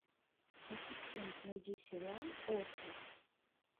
ассистент найди сериал остров